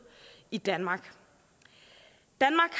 i danmark danmark